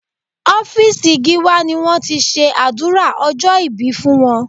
Ọ́fíìsì Gíwá ni wọ́n ti ṣe àdúrà ọjọ́ ìbí fún wọn